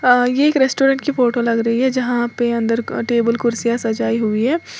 ये एक रेस्टोरेंट की फोटो लग रही है जहां पे अंदर का टेबल कुर्सियां सजाई हुई है।